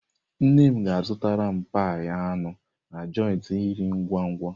Nne m ga-zụtara m pie anụ na joịtị nri ngwa-ngwa.